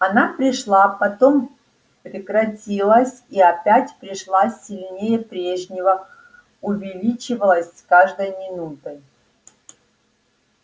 она пришла потом прекратилась и опять пришла сильнее прежнего увеличивалась с каждой минутой